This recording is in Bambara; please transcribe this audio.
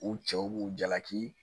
U cɛw b'u jalaki